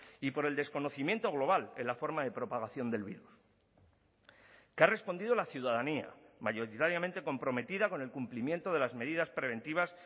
y por el desconocimiento global en la forma de propagación del virus que ha respondido la ciudadanía mayoritariamente comprometida con el cumplimiento de las medidas preventivas